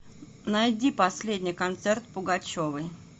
найди последний концерт пугачевой